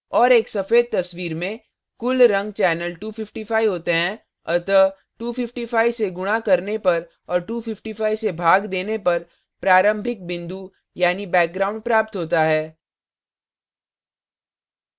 और एक सफेद तस्वीर में कुल रंग चैनल 255 होते हैं अतः 255 से गुणा करने पर और 255 से भाग देने पर प्रारंभिक बिंदु यानी background प्राप्त होता है